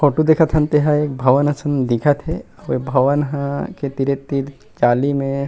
photo देखत हन तेहा एक भवन असन दिखत हे अऊ भवन ह के तीरे-तीर जाली में--